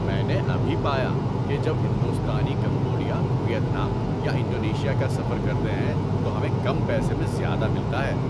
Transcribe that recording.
میں نے ابھی پایا کہ جب ہندوستانی کمبوڈیا، ویتنام یا انڈونیشیا کا سفر کرتے ہیں تو ہمیں کم پیسے میں زیادہ ملتا ہے۔